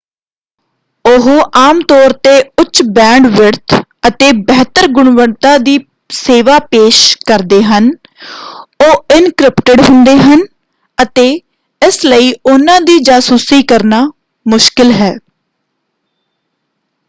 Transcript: ਉਹ ਆਮਤੌਰ 'ਤੇ ਉੱਚ ਬੈਂਡਵਿਡਥ ਅਤੇ ਬਿਹਤਰ ਗੁਣਵੱਤਾ ਦੀ ਸੇਵਾ ਪੇਸ਼ ਕਰਦੇ ਹਨ। ਉਹ ਇਨਕ੍ਰਿਪਟਿਡ ਹੁੰਦੇ ਹਨ ਅਤੇ ਇਸ ਲਈ ਉਹਨਾਂ ਦੀ ਜਾਸੂਸੀ ਕਰਨਾ ਮੁਸ਼ਕਲ ਹੈ।